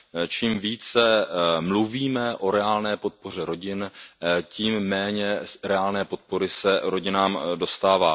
Čím více mluvíme o reálné podpoře rodin, tím méně se reálné podpory rodinám dostává.